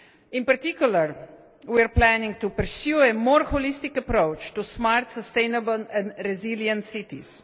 In particular, we are planning to pursue a more holistic approach to smart, sustainable and resilient cities